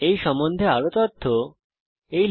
আপনি এই সম্বন্ধে আরও তথ্য এই ওয়েবসাইটে দেখতে পারেন